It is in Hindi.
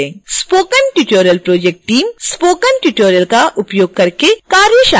spoken tutorial project team spoken tutorials का उपयोग करके कार्यशालाएं आयोजित करती है